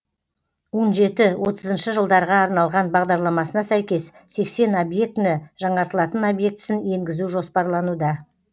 он жеті отызыншы жылдарға арналған бағдарламасына сәйкес сексен объектіні жаңартылатын объектісін енгізу жоспарлануда